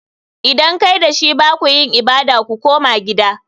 Idan kai da shi ba ku yin ibada. Ku koma gida!